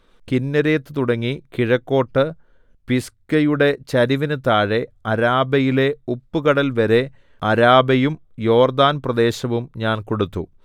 കിന്നേരെത്ത് തുടങ്ങി കിഴക്കോട്ട് പിസ്ഗയുടെ ചരിവിന് താഴെ അരാബയിലെ ഉപ്പുകടൽവരെ അരാബയും യോർദ്ദാൻപ്രദേശവും ഞാൻ കൊടുത്തു